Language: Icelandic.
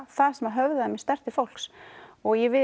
það sem höfðaði mjög sterkt til fólks og ég